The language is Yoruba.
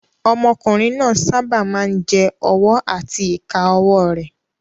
Ọmọkùnrin náà sábà máa ń jẹ ọwọ́ àti ìka ọwọ́ rẹ̀